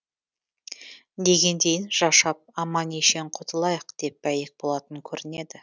дегендейін жашап аман ешен құтылайық деп бәйек болатын көрінеді